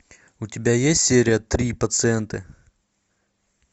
у тебя есть серия три пациенты